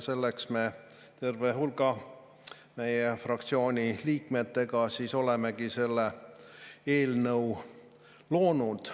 Selleks ma terve hulga meie fraktsiooni liikmetega olengi selle eelnõu loonud.